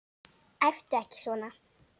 Æptu ekki svona!